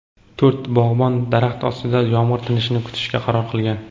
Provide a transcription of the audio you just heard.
to‘rt bog‘bon daraxt ostida yomg‘ir tinishini kutishga qaror qilgan.